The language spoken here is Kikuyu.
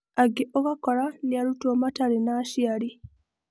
Angĩ ũgakora nĩ arutwo matarĩ na aciari.